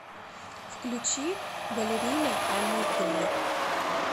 включи баллерина аникв